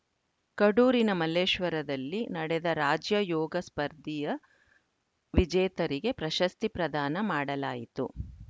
ಕಡೂರಿನ ಮಲ್ಲೇಶ್ವರದಲ್ಲಿ ನಡೆದ ರಾಜ್ಯ ಯೋಗ ಸ್ಪರ್ಧೆಯ ವಿಜೇತರಿಗೆ ಪ್ರಶಸ್ತಿ ಪ್ರದಾನ ಮಾಡಲಾಯಿತು